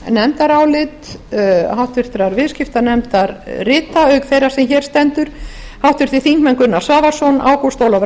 nefndarálit háttvirtur viðskiptanefndar rita auk þeirrar sem hér stendur háttvirtir þingmenn gunnar svavarsson ágúst ólafur